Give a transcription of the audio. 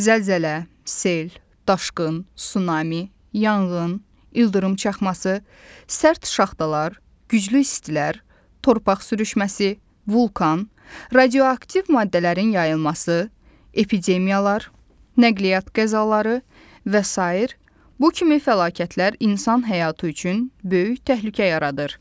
Zəlzələ, sel, daşqın, sunami, yanğın, ildırım çaxması, sərt şaxtalar, güclü istilər, torpaq sürüşməsi, vulkan, radioaktiv maddələrin yayılması, epidemiyalar, nəqliyyat qəzaları və sair bu kimi fəlakətlər insan həyatı üçün böyük təhlükə yaradır.